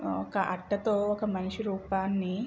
ఒక అట్టతో ఒక మనిషి రూపాన్ని--